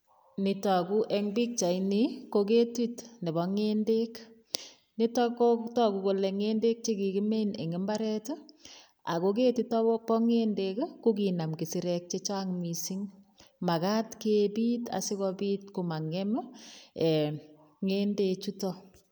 Nitagu eng pikchaini, ko ketit nebo ngendek. Nitok ko tagu kole ngendek che kikimin eng imbaret ago ketitok o bongendek ko kinam kisirek che chang mising. Magat kepit asigopit komangem, ee ngendechuto.